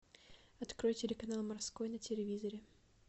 открой телеканал морской на телевизоре